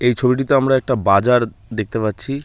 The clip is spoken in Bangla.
এই ছবিটিতে আমরা একটা বাজার দেখতে পাচ্ছি।